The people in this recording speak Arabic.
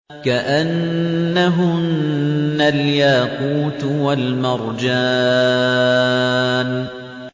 كَأَنَّهُنَّ الْيَاقُوتُ وَالْمَرْجَانُ